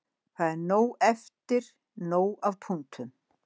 Það er nóg eftir, nóg af punktum.